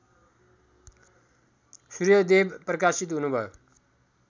सूर्यदेव प्रकाशित हुनुभयो